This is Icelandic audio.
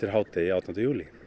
hádegi átjánda júlí